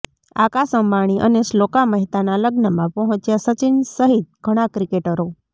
આકાશ અંબાણી અને શ્લોકા મહેતાના લગ્નમાં પહોંચ્યા સચિન સહિત ઘણા ક્રિકેટરો